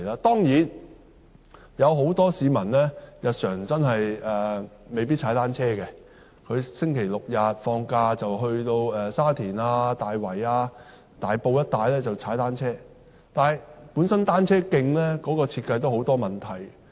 當然，很多市民真的未必經常踏單車，星期六、日及假期會前往沙田、大圍、大埔一帶踏單車，但單車徑本身的設計都有很多問題。